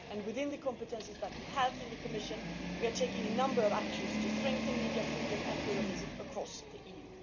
Within the competences that we have in the Commission, we are taking a number of actions to strengthen media freedom and pluralism across the